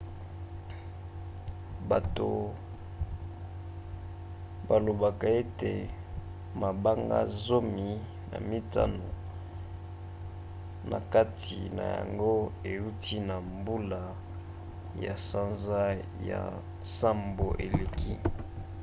bato balobaka ete mabanga zomi na mitano na kati na yango euta na mbula ya sanza ya nsambo eleki